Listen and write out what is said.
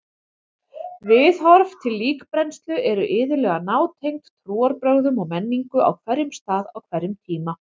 Viðhorf til líkbrennslu eru iðulega nátengd trúarbrögðum og menningu á hverjum stað á hverjum tíma.